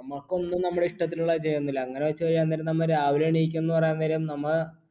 നമ്മക്കൊന്നും നമ്മടെ ഇഷ്ട്ടത്തിനുള്ളത് ചെയ്യന്നില്ല അങ്ങനെ വെച്ച് ചെയ്യാൻ നേരം നമ്മ രാവിലെ എണീക്കുംന്ന് പറയാൻ നേരം നമ്മ